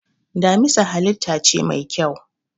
Damisa halitta ce mai kyau.